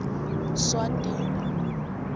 swatini